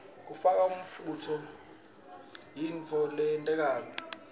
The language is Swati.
kufaka umfunto kuyoyonkhe intfo loyentako